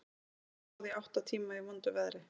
Orrustan stóð í átta tíma í vondu veðri.